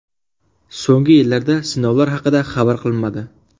So‘nggi yillarda sinovlar haqida xabar qilinmadi.